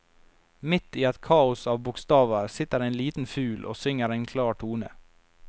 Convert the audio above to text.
Midt i et kaos av bokstaver sitter en liten fugl og synger en klar tone.